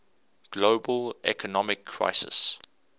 global economic crisis